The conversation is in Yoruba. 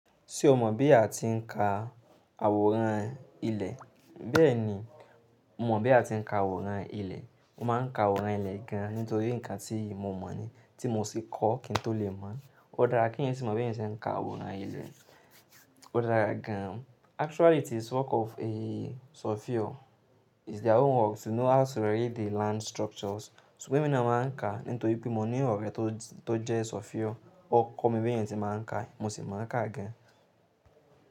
Ṣé o mọ̀ bí a ti ń ka àwòrán ilẹ̀? Bẹ́ẹ̀ni, mo mọ̀ bí a ti ń ka àwòrán ilẹ̀. Mo máa ń ka àwòrán ilẹ̀ gan-an nítorí nǹkan tí mo mọ̀ ni tí mo sì kọ́ kí n tó lè mọ̀. O dára kí ènìyàn sì mọ bí ènìyàn ṣe ń ka àwòrán ilẹ̀. O dára gan-an. Actually it is work of a surveyor. It's their own work to know how to read the land structures. Ṣùgbọ́n èmi náà máa ń ka nítorí pé mo ní ọ̀rẹ́ tó jẹ́ surveyor. Ó kọ́ mi bí ènìyàn tí máa ń ka, mo sì mọ̀ ká gan-an.